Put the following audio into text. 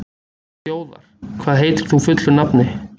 Þjóðar, hvað heitir þú fullu nafni?